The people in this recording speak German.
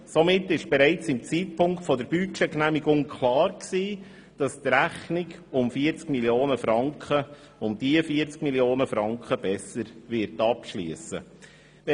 Somit war bereits zum Zeitpunkt der Budgetgenehmigung klar, dass die Rechnung um diese 40 Mio. Franken besser abschliessen wird.